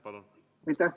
Palun!